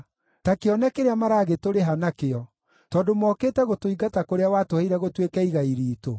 Ta kĩone kĩrĩa maragĩtũrĩha nakĩo, tondũ mokĩte gũtũingata kũrĩa watũheire gũtuĩke igai riitũ.